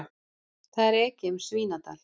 Það er ekið um Svínadal.